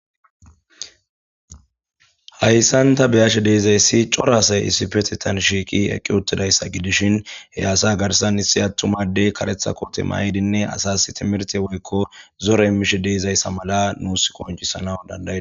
Hayssan ta beashe deizayssi coora asay issippetetan shiqqi eqqidi utidayssa gidishin he asa garssan issi attuma adey kareththa koote mayidinne asas timihirtte woykko zore immishe deizayssa mala nusi qonccisanas danadaides.